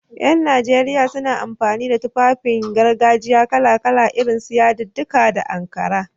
Ƴan najeriya suna amfani da Tufafin gargajiya kala-kala, irin su yadudduka na Ankara.